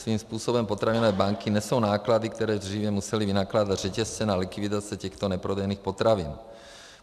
Svým způsobem potravinové banky nesou náklady, které dříve musely vynakládat řetězce na likvidaci těchto neprodejných potravin.